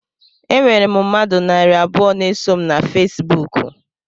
Enwere m mmadụ narị abụọ na-eso m na Fesibuku